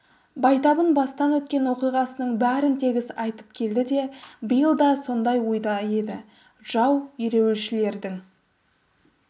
байтабын бастан өткен оқиғасының бәрін тегіс айтып келді де биыл да сондай ойда еді жау ереуілшілердің